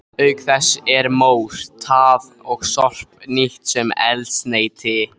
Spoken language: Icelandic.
Auk þess er mór, tað og sorp nýtt sem eldsneyti.